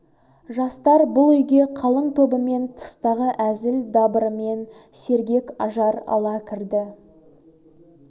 жастар бұл үйге қалың тобымен тыстағы әзіл дабырымен сергек ажар ала кірді